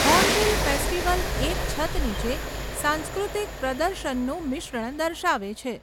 Hornbill festival એક છત નીચે સાંસ્કૃતિક પ્રદર્શનનું મિશ્રણ દર્શાવે છે.